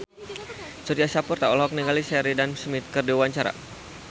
Surya Saputra olohok ningali Sheridan Smith keur diwawancara